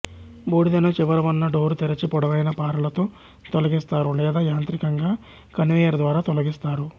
బూడిదను చివర వున్న డోరు తెరచి పొడవైన పారలతో తొలగిస్తారు లేదా యాంత్రికంగా కన్వేయరు ద్వారా తొలగిస్తారు